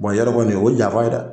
i y'a dɔn kɔni o ye janfan ye dɛ